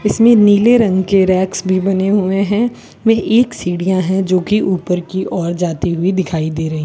इसमें नीले रंग के रैक भी बने हुएं हैं वह एक सीढ़ियां है जो की ऊपर की ओर जाती हुई दिखाई दे रही --